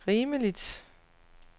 rimeligt